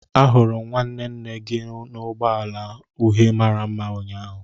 ahuru m nwanne nne gi n'ụgbọ ala uhie mara mma ụnyaahụ